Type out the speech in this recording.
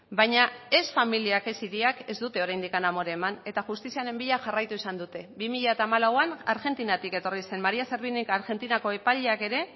baina ez familiak ez hiriak ez dute oraindik amore eman eta justiziaren bila jarraitu izan dute bi mila hamalauan argentinatik etorri zen maría servinik argentinako epaileak ere